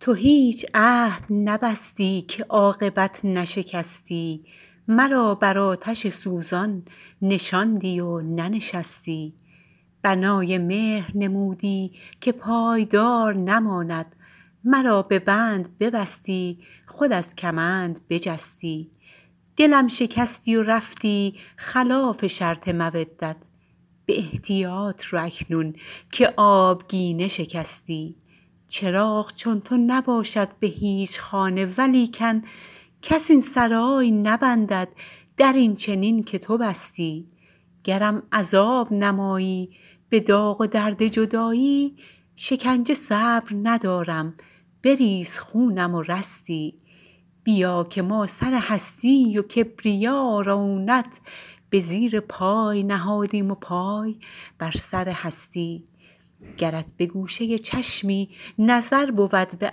تو هیچ عهد نبستی که عاقبت نشکستی مرا بر آتش سوزان نشاندی و ننشستی بنای مهر نمودی که پایدار نماند مرا به بند ببستی خود از کمند بجستی دلم شکستی و رفتی خلاف شرط مودت به احتیاط رو اکنون که آبگینه شکستی چراغ چون تو نباشد به هیچ خانه ولیکن کس این سرای نبندد در این چنین که تو بستی گرم عذاب نمایی به داغ و درد جدایی شکنجه صبر ندارم بریز خونم و رستی بیا که ما سر هستی و کبریا و رعونت به زیر پای نهادیم و پای بر سر هستی گرت به گوشه چشمی نظر بود به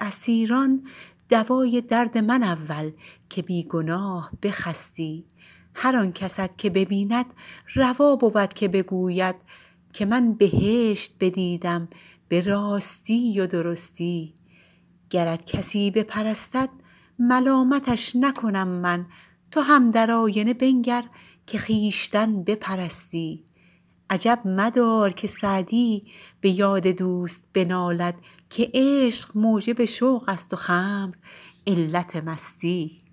اسیران دوای درد من اول که بی گناه بخستی هر آن کست که ببیند روا بود که بگوید که من بهشت بدیدم به راستی و درستی گرت کسی بپرستد ملامتش نکنم من تو هم در آینه بنگر که خویشتن بپرستی عجب مدار که سعدی به یاد دوست بنالد که عشق موجب شوق است و خمر علت مستی